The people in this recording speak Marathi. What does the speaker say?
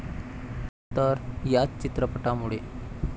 तर याच चित्रपटामुळे.